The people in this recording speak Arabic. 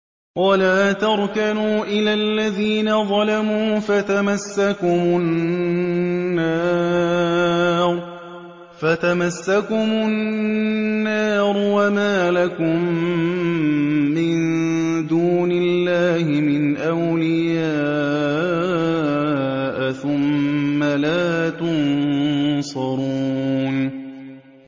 وَلَا تَرْكَنُوا إِلَى الَّذِينَ ظَلَمُوا فَتَمَسَّكُمُ النَّارُ وَمَا لَكُم مِّن دُونِ اللَّهِ مِنْ أَوْلِيَاءَ ثُمَّ لَا تُنصَرُونَ